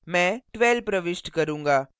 मैं 12 प्रविष्ट करूंगा